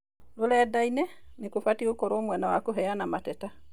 Rũrenda-inĩ, nĩ kũbatie gũkorũo mwena wa kũheana mateta.